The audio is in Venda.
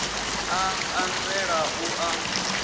a a nzela u a